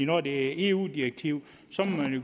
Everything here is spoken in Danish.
når det er et eu direktiv